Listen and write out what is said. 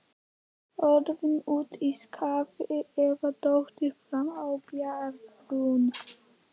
Orðið úti í skafli eða dottið fram af bjargbrún.